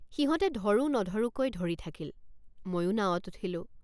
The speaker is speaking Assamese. সিহঁতে ধৰো নধৰোঁকৈ ধৰি থাকিল ময়ো নাৱত উঠিলোঁ।